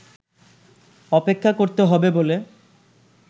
অপেক্ষা করতে হবে বলে